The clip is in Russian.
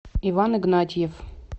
иван игнатьев